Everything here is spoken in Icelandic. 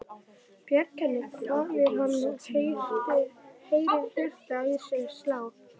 Bjarga henni? hváir hann og heyrir hjartað í sér slá.